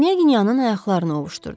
Knya Knyaginyanın ayaqlarını ovuşdurdum.